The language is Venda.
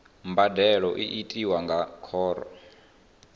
mbadelo i tiwa nga khoro